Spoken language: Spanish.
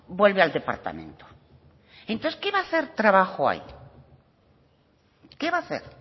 vuelve al departamento entonces qué va a hacer trabajo ahí qué va a hacer